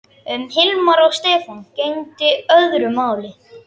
Um Hilmar og Stefán gegndi öðru máli.